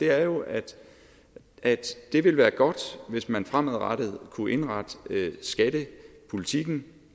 er jo at at det ville være godt hvis man fremadrettet kunne indrette skattepolitikken